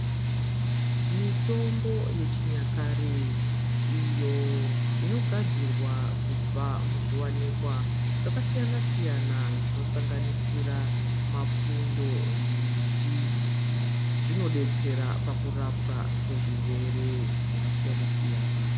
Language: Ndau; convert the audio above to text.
Mitombo yechinyakare iyo inogadzirwa kubva muzviwanikwa zvakasiyana -siyana zvinosanganisira mapundo, miti zvinodetsera pakurapwa kwezvirwere zvakasiyana -siyana.